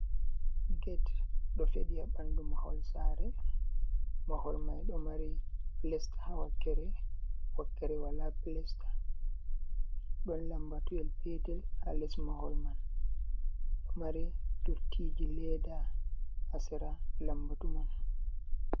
Ged ɗo feɗi ha ɓandu mahol sare, mahol mai ɗo mari pilesta ha wakkere, wakkere wala pilasta. Ɗon lambatuyel petel ha les mahol man, ɗo mari dottiji leda ha sera lambatu man.